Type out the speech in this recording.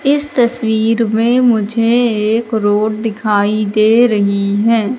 इस तस्वीर में मुझे एक रोड दिखाई दे रही हैं।